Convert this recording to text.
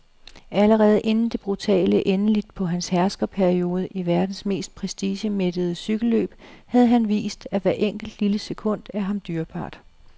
Allerede inden det brutale endeligt på hans herskerperiode i verdens mest prestigemættede cykelløb havde han vist, at hvert enkelt, lille sekund er ham dyrebart.